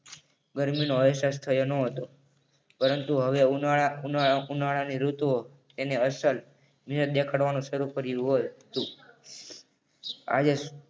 ગરમીનો અહેસાસ થયો ન હતો પરંતુ હવે ઉનાળા ઉનાળા ઉનાળાની ઋતુઓ એને અસર દેખાડવાનું શરૂ કર્યું હતું. આજે